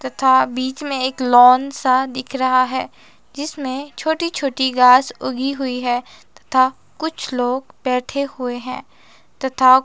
तथा बीच में एक लॉन सा दिख रहा है जिसमें छोटी छोटी घास उगी हुई है तथा कुछ लोग बैठे हुए हैं तथा--